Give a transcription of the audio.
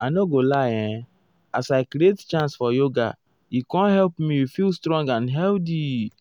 i nor go lie[um] as i create chance for yoga e com help me feel srong and healthy o.